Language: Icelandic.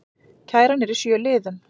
Kæran er í sjö liðum